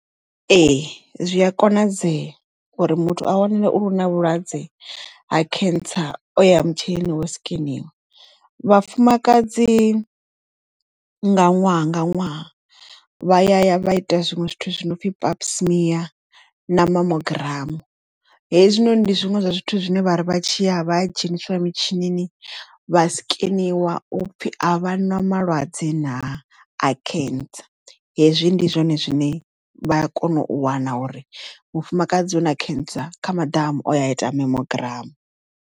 Ee zwi a konadzea uri muthu a wanale uri u na vhulwadze ha cancer o ya mutshinini wo sikeniwa vhafumakadzi nga ṅwaha nga ṅwaha vha ya ya vha ita zwinwe zwithu zwi no pfi papsmear na memogram hezwinoni ndi zwiṅwe zwa zwithu zwine vhari vha tshi ya vha ya dzheniswa mitshini vha sikeniwa upfhi a vha na malwadze na a cancer hezwi ndi zwone zwine vha a kona u wana uri mufumakadzi una cancer ya maḓamu o ya a ita memogram.